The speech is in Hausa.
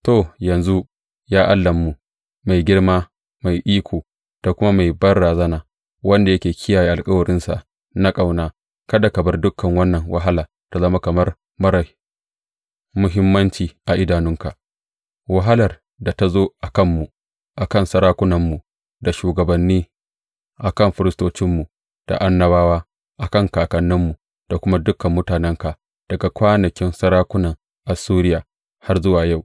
To yanzu, ya Allahnmu, mai girma, mai iko, da kuma mai banrazana, wanda yake kiyaye alkawarinsa na ƙauna, kada ka bar dukan wannan wahala ta zama kamar marar muhimmanci a idanunka, wahalar da ta zo a kanmu, a kan sarakunanmu da shugabanni, a kan firistocinmu da annabawa, a kan kakanninmu da kuma dukan mutanenka, daga kwanakin sarakunan Assuriya har yă zuwa yau.